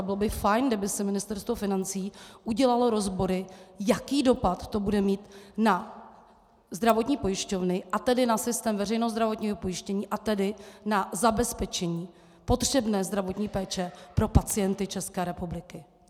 A bylo by fajn, kdyby si Ministerstvo financí udělalo rozbory, jaký dopad to bude mít na zdravotní pojišťovny, a tedy na systém veřejného zdravotního pojištění, a tedy na zabezpečení potřebné zdravotní péče pro pacienty České republiky.